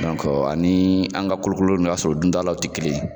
ani an ka kolo kolo in, i ba sɔrɔ u dun da law te kelen ye.